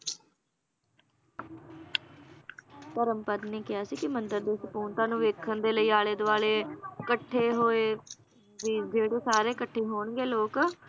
ਧਰਮਪਦ ਨੇ ਕਿਹਾ ਸੀ ਕਿ ਮੰਦਿਰ ਦੀ ਸਪੂਰਨਤਾ ਨੂੰ ਵੇਖਣ ਦੇ ਲਈ ਆਲੇ-ਦਵਾਲੇ ਕੱਠੇ ਹੋਏ ਵੀ ਜਿਹੜੇ ਸਾਰੇ ਕੱਠੇ ਹੋਣਗੇ ਲੋਕ